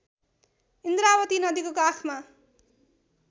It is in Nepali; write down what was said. इन्द्रावती नदीको काखमा